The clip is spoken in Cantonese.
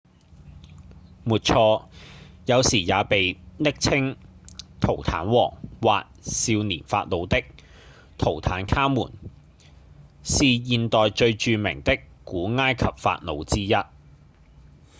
沒錯！有時也被暱稱「圖坦王」或「少年法老」的圖坦卡門是現代最著名的古埃及法老之一